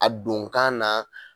A don kan na